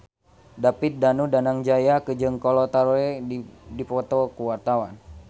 David Danu Danangjaya jeung Kolo Taure keur dipoto ku wartawan